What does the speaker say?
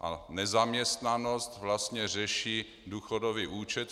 A nezaměstnanost vlastně řeší důchodový účet.